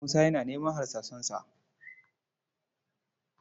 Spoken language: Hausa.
Musa yana neman harsasansa